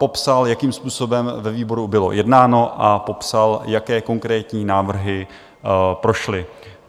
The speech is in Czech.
Popsal, jakým způsobem ve výboru bylo jednáno, a popsal, jaké konkrétní návrhy prošly.